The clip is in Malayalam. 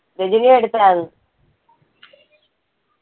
അടുത്തായിരുന്നു.